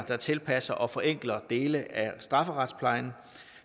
der tilpasser og forenkler dele af strafferetsplejen